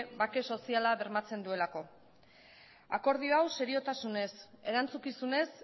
bake soziala bermatzen duelako akordio hau seriotasunez erantzukizunez